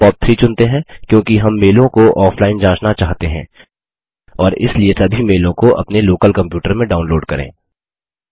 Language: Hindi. हम पॉप3 चुनते हैं क्योंकि हम मेलों को ऑफलाइन जाँचना चाहते हैं और इसलिए सभी मेलों को अपने लोकल कम्प्यूटर में डाउनलोड करें